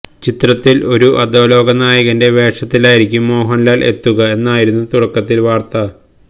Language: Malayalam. ചിത്രത്തിൻ ഒരു അധോലോക നായകന്റെ വേഷത്തിലായിരിക്കും മോഹൻലാൽ എത്തുക എന്നായിരുന്നു തുടക്കത്തിൽ വാർത്ത